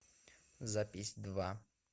запись два